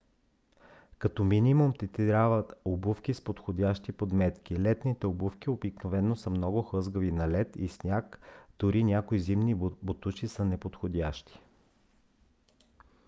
като минимум ти трябват обувки с подходящи подметки. летните обувки обикновено са много хлъзгави на лед и сняг дори някои зимни ботуши са неподходящи